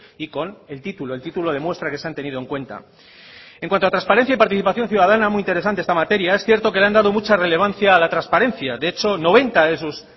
y con el título el título demuestra que se han tenido en cuenta en cuanto a transparencia y participación ciudadana muy interesante esta materia es cierto que le han dado mucha relevancia a la transparencia de hecho noventa de sus